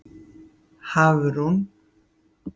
Hafrún